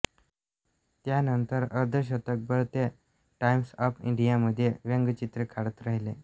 त्यानंतर अर्धशतकभर ते टाइम्स ऑफ इंडिया मध्ये व्यंगचित्रे काढत राहिले